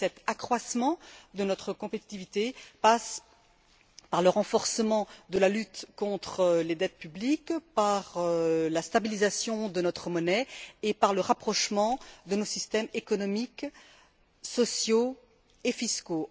Cet accroissement passe par le renforcement de la lutte contre les dettes publiques, par la stabilisation de notre monnaie et par le rapprochement de nos systèmes économiques, sociaux et fiscaux.